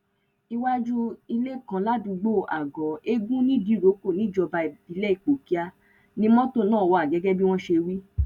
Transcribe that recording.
iwájú ilé kan ládùúgbò àgọ ẹgùn nìdírọkọ níjọba ìbílẹ ipòkíà ni mọtò náà wà gẹgẹ bí wọn ṣe wí